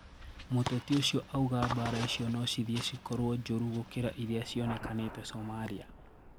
Mũteti ũcio auga mbara icio nocithie cikorwo njoru gũkira iria cionekanĩte Somalia.